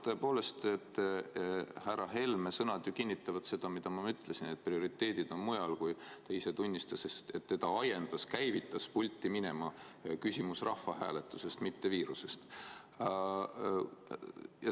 Tõepoolest, härra Helme sõnad ju kinnitavad seda, mida ma ütlesin, et prioriteedid on mujal, kui ta ise tunnistas, et teda ajendas pulti minema küsimus rahvahääletusest, mitte viirusest.